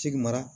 Sigi mara